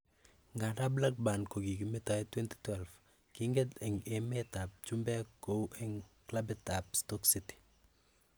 Nganda Blackburn kokikimetoen 2012, kinget eng emer ab chumbek kou eng klabit ab Stoke City.